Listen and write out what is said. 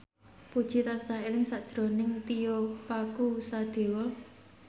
Puji tansah eling sakjroning Tio Pakusadewo